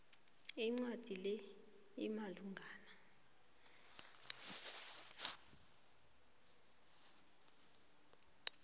incwadi le imalungana